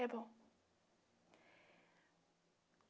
É bom.